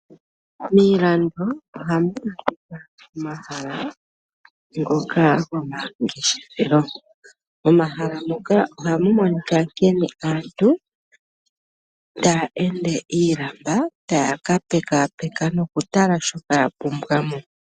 Miilando ohamu adhika omahala ngoka go mangeshefelo . Momahala moka ohamu monika nkene aantu taya ende yi ilamba taya ka pekaapeka noku tala shoka ya pumbwa mo.